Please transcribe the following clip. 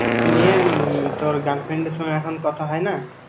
নিয়ে উম তোর girlfriend এর সঙ্গে এখন কথা হয়না?